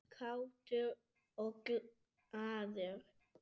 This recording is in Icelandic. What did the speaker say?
Kátur og glaður.